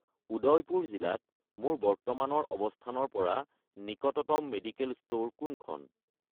উদয়পুৰ জিলাত মোৰ বৰ্তমানৰ অৱস্থানৰ পৰা নিকটতম মেডিকেল ষ্ট'ৰ কোনখন?